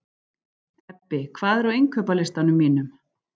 Ebbi, hvað er á innkaupalistanum mínum?